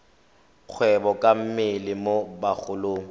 kgwebo ka mmele mo bagolong